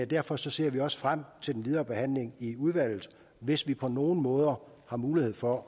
derfor ser vi også frem til den videre behandling i udvalget hvis vi på nogen måder har mulighed for